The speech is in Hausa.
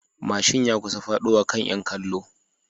Mashin ya kusa fadowa kan 'yan kallo